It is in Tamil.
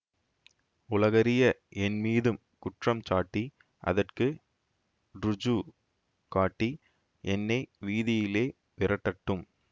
உலகறிய என்மீது குற்றம் சாட்டி அதற்கு ருஜு காட்டி என்னை வீதியிலே விரட்டட்டும்